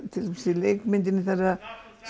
til dæmis í leikmyndinni þegar